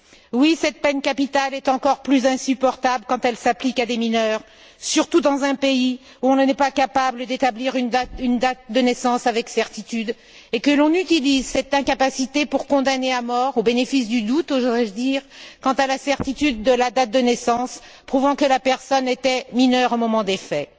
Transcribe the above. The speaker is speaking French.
Oui, cette peine capitale est encore plus insupportable quand elle s'applique à des mineurs, surtout dans un pays où on n'est pas capable d'établir une date de naissance avec certitude et où on utilise cette incapacité pour condamner à mort, au bénéfice du doute, oserais je dire, quant à la certitude de la date de naissance prouvant que la personne était mineure au moment des faits.